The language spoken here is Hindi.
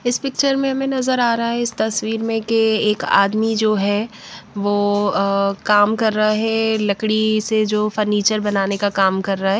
इस पिक्चर में हमें नज़र आ रहा है इस तस्वीर में कि एक आदमी जो है वो काम कर रहा है लकड़ी से जो फर्नीचर बनाने का काम कर रहा है।